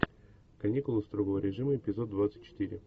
каникулы строгого режима эпизод двадцать четыре